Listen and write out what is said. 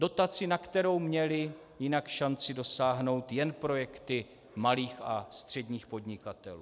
Dotaci, na kterou měly jinak šanci dosáhnout jen projekty malých a středních podnikatelů.